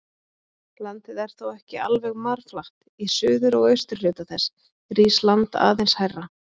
Landið er þó ekki alveg marflatt, í suður- og austurhluta þess rís land aðeins hærra.